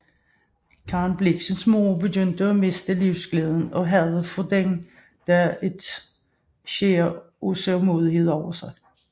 Karen Blixens mor begyndte at miste livsglæden og havde fra den dag et skær af sørgmodighed over sig